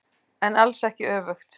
En alls ekki öfugt.